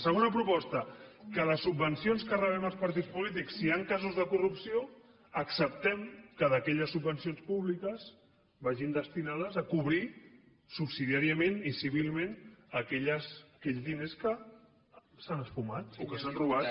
segona proposta que les subvencions que rebem els partits polítics si hi han casos de corrupció acceptem que aquelles subvencions públiques vagin destinades a cobrir subsidiàriament i civilment aquells diners que s’han esfumat o que s’han robat